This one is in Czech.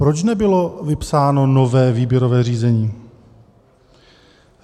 Proč nebylo vypsáno nové výběrové řízení?